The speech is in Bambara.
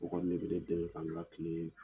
O kɔni de bɛ ne dɛmɛ ka n ka la tile in